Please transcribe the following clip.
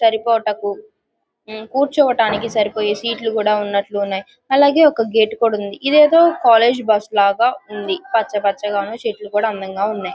సరిపోటాకు యూయూ కూర్చోడానికి సరిపోయే సీట్ లు కూడా ఉన్నాయ్. అలాగే ఒక గేట్ కూడా ఉంది. ఇదేదో ఒక కాలేజీ బస్ లాగా ఉంది. పచ్చపచ్చగా ఉంది. చెట్లు కూడా అందంగా ఉన్నాయ్.